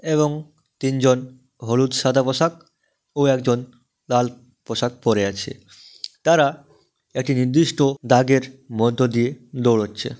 এবং তিনজন হলুদ সাদা পোশাক ও একজন লাল পোশাক পড়ে আছে তারা একটি নির্দিষ্ট দাগের মধ্য দিয়ে দৌড়াচ্ছে।